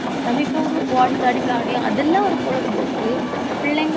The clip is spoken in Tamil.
நம்ம இப்ப ஒரு ஓடி தாண்டி விளையாடி அதெல்லாம் ஒரு பொழுதுபோக்கு பிள்ளைங்க